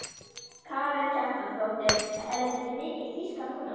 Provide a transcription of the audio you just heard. Karen Kjartansdóttir: Er þetta ekki mikil tíska núna?